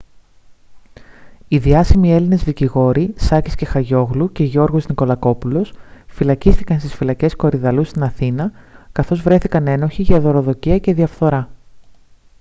οι διάσημοι έλληνες δικηγόροι σάκης κεχαγιόγλου και γιώργος νικολακόπουλος φυλακίστηκαν στις φυλακές κορυδαλλού στην αθήνα καθώς βρέθηκαν ένοχοι για δωροδοκία και διαφθορά